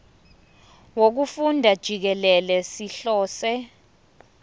wokufunda jikelele sihlose